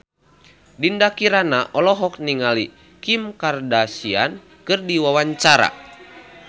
Dinda Kirana olohok ningali Kim Kardashian keur diwawancara